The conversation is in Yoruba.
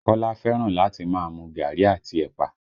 Kola fẹ́ràn láti máa mu gaàrí àti ẹ̀pà